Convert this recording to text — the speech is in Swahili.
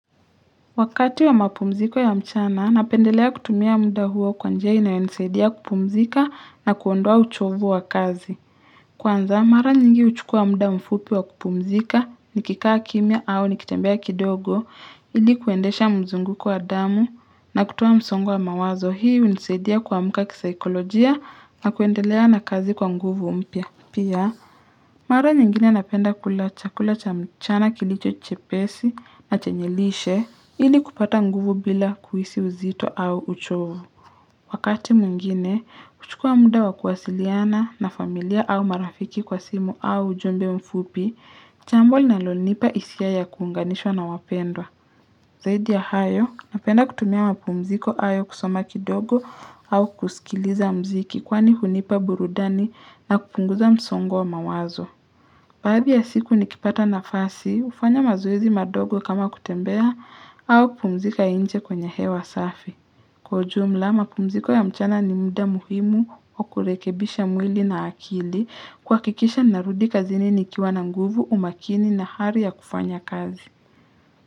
Wakati wa mapumziko ya mchana, napendelea kutumia muda huo kwa njia inayonisaidia kupumzika na kuondoa uchovu wa kazi. Kwanza, mara nyingi huchukua muda mfupi wa kupumzika nikikaa kimya au nikitembea kidogo, ili kuendesha mzunguko wa damu na kutoa msongo wa mawazo hii hunisaidia kuamka kisikolojia na kuendelea na kazi kwa nguvu mpya. Pia, mara nyingine napenda kula chakula cha mchana kilicho chepesi na chenye lishe, ili kupata nguvu bila kuhisi uzito au uchovo. Wakati mwengine, huchukua muda wa kuwasiliana na familia au marafiki kwa simu au ujumbe mfupi, jambo linalonipa hisia ya kuunganishwa na wapendwa. Zaidi ya hayo, napenda kutumia mapumziko hayo kusoma kidogo au kusikiliza muziki kwani hunipa burudani na kupunguza msongo wa mawazo. Baadhi ya siku nikipata nafasi, hufanya mazoezi madogo kama kutembea au kupumzika nje kwenye hewa safi. Kwa ujumla, mapumziko ya mchana ni muda muhimu wa kurekebisha mwili na akili kuhakikisha narudi kazini nikiwa na nguvu, umakini na hali ya kufanya kazi.